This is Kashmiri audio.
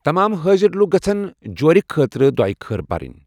تمام حٲضِر لوٗكھ گژھن جورِ خٲطرٕ دۄیہ خٲر پرٕن